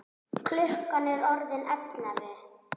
Klukkan er orðin ellefu!